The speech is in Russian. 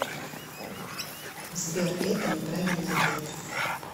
сбер это не правильный ответ